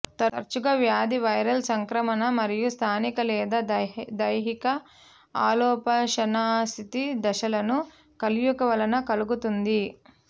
తరచుగా వ్యాధి వైరల్ సంక్రమణ మరియు స్థానిక లేదా దైహిక అల్పోష్ణస్థితి దశలను కలయిక వలన కలుగుతుంది